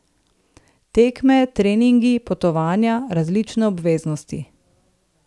Tekme, treningi, potovanja, različne obveznosti ...